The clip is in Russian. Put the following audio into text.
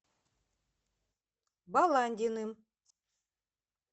баландиным